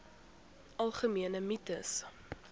algemene mites